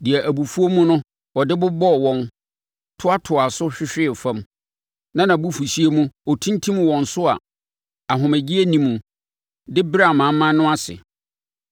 deɛ abufuo mu no ɔde bobɔɔ wɔn toatoaa so hwehwee fam, na abufuhyeɛ mu ɔtintim wɔn so a ahomegyeɛ nni mu de brɛɛ amanaman no ase.